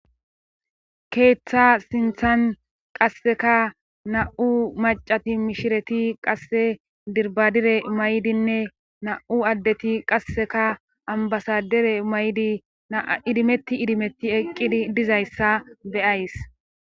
Keeththa sinthan qasseka na7u macati mishireti qasse dirbadire maydinne na7u addeti qasseka ambasadere may7di naa idimetti idimetti eqqidi dizayssa beyays.